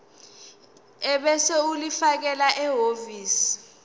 ebese ulifakela ehhovisi